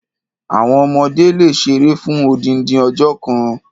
Àwon ọmọdé le ṣeré fún odindin ọjọ́ kan.